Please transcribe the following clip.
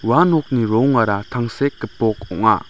ua nokni rongara tangsek gipok ong·a.